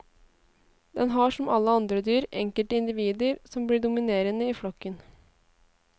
Den har som alle andre dyr enkelte individer som blir dominerende i flokken.